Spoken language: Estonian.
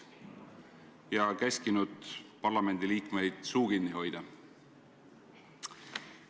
Ka käskis ta parlamendiliikmeil suu kinni hoida.